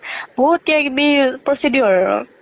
বহুত কিবা কিবি procedure আৰু